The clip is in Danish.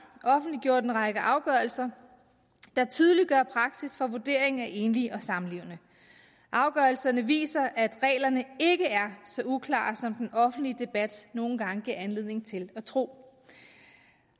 offentliggjort en række afgørelser der tydeliggør praksis for vurdering af enlige og samlevende afgørelserne viser at reglerne ikke er så uklare som den offentlige debat nogle gange giver anledning til at tro